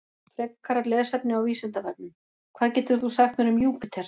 Frekara lesefni á Vísindavefnum: Hvað getur þú sagt mér um Júpíter?